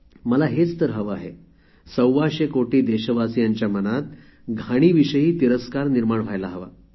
मला हेच तर हवे आहे सव्वाशे कोटी देशवासियांच्या मनात घाणीविषयी तिरस्कार निर्माण व्हायला हवा